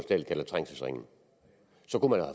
dahl kalder trængselsringen så